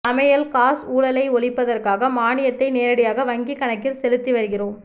சமையல் காஸ் ஊழலை ஒழிப்பதற்காக மானியத்தை நேரடியாக வங்கி கணக்கில் செலுத்திவருகிறோம்